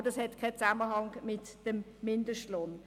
Aber das hat keinen Zusammenhang mit dem Mindestlohn.